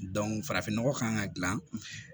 farafin nɔgɔ kan ka gilan